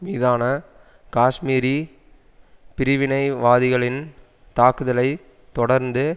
மீதான காஷ்மீரி பிரிவினைவாதிகளின் தாக்குதலை தொடர்ந்து